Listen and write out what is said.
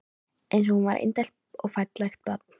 Eins og hún var indælt og fallegt barn.